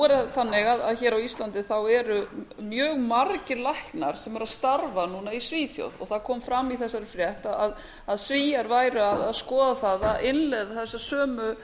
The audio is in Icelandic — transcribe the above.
er það þannig að hér á íslandi eru mjög margir læknar sem eru að starfa núna í svíþjóð það kom fram í þessari frétt að svíar væru að skoða það að innleiða þessa sömu